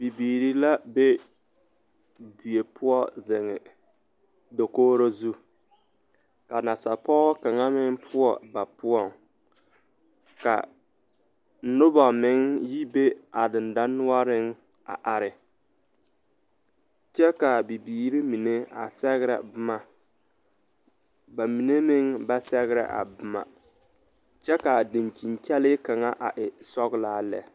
Bibiiri la be die poɔ zeŋ dakoɡro zu ka nasapɔɡɔ kaŋa meŋ poɔ ba poɔŋ ka noba meŋ yi be a dendanoɔreŋ a are kyɛ ka a bibiiri mine a sɛɡrɛ boma ba mine meŋ ba sɛɡrɛ a boma kyɛ ka a dankyini kyɛlɛɛ kaŋ a e sɔɡelaa lɛ.